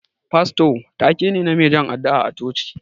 Fasto ta-ke ne, na mai jan addu'a a coci.